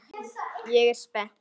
Ég er spennt.